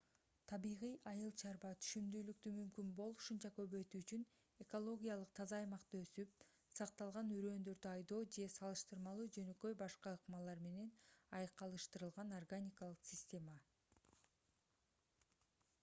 табигый айыл чарба түшүмдүүлүктү мүмкүн болушунча көбөйтүү үчүн экологиялык таза аймакта өсүп сакталган үрөндөрдү айдоо же салыштырмалуу жөнөкөй башка ыкмалар менен айкалыштырылган органикалык система